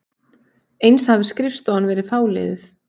Eins hafi skrifstofan verið fáliðuð